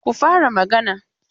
Ku fara magana!